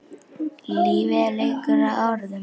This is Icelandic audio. Lífið er leikur að orðum.